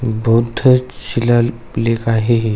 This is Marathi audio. बुद्ध चिलाल लेख आहे हे --